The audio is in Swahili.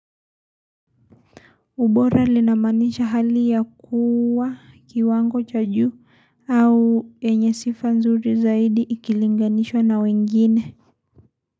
Ubora linamaanisha hali ya kuwa kiwango cha juu au yenye sifa nzuri zaidi ikilinganishwa na wengine.